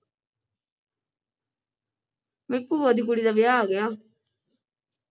ਮੇਰੀ ਭੂਆ ਦੀ ਕੁੜੀ ਦਾ ਵਿਆਹ ਆ ਗਿਆ।